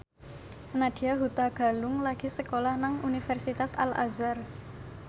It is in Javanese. Nadya Hutagalung lagi sekolah nang Universitas Al Azhar